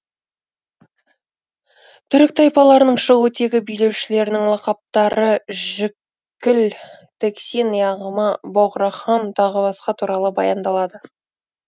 түрік тайпаларының шығу тегі билеушілерінің лақаптары жікіл тексин яғма боғрахан тағы басқа туралы баяндалады